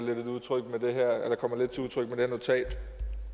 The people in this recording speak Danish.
kommer lidt til udtryk med det her notat